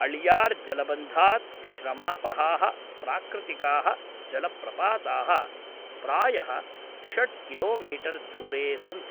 अळियार् जलबन्धात् श्रमापहाः प्राकृतिकाः जलप्रपाताः प्रायः षड् किलोमीटर् दूरे सन्ति।